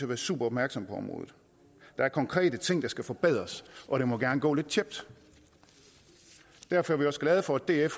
være super opmærksom på området der er konkrete ting der skal forbedres og det må gerne gå lidt tjept derfor er vi også glade for at df